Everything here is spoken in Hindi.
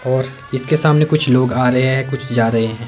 और इसके सामने कुछ लोग आ रहें हैं कुछ जा रहें हैं।